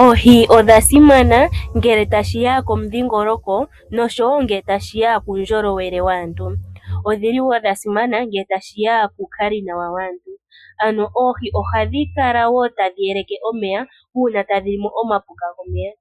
Oohi odhasimana ngele tashiya komudhingoloko noshowo ngele tashiya kuundjolowele waantu .Odhili woo dhasimana ngele tashiya kuukali nawa waantu .Ano oohi ohadhi kala woo tadhi yeleke omeya uuna tadhilimo omapuka momeya